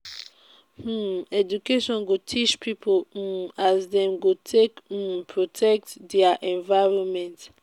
um education go teach pipo um as dem go take um protect their environment